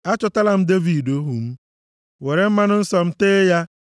Achọtala m Devid ohu m, were mmanụ nsọ m tee ya.